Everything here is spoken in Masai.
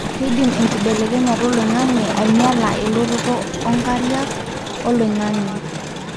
keidim enkibelekenyata oloingange ainyiala elototo ongariak, oloingange